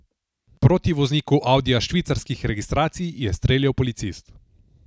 Proti vozniku audija švicarskih registracij je streljal policist.